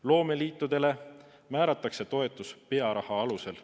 Loomeliitudele määratakse toetus pearaha alusel.